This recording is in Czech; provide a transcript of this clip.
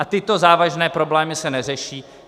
A tyto závažné problémy se neřeší.